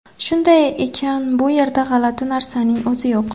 Shunday ekan, bu yerda g‘alati narsaning o‘zi yo‘q.